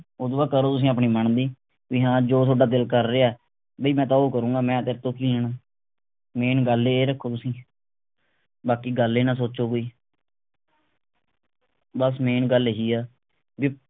ਓਦੂੰ ਬਾਅਦ ਕਰੋ ਤੁਸੀਂ ਆਪਣੀ ਮਨ ਦੀ ਵੀ ਹਾਂ ਜੋ ਥੋਡਾ ਦਿਲ ਕਰ ਰਿਹੇ ਬੀ ਮੈਂ ਉਹ ਕਰੂੰਗਾ ਮੈਂ ਤੇਰੇ ਤੋਂ ਕਿ ਲੈਣਾ main ਗੱਲ ਇਹ ਰੱਖੋ ਤੁਸੀਂ